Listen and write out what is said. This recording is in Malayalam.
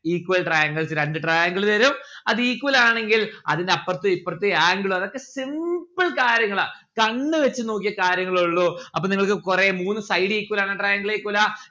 equal triangles രണ്ട് triangle തരും അത് equal ആണെങ്കിൽ അതിന്റെ അപ്പ്രത് ഇപ്പ്രത് angle അതൊക്കെ simple കാര്യങ്ങളാ കണ്ണ് വച്ച് നോക്കിയ കാര്യങ്ങളെ ഇള്ളു അപ്പൊ നിങ്ങൾക്ക് കൊറേ മൂന്ന് side equal ആവുന്ന triangle ആയിരിക്കൂല്ല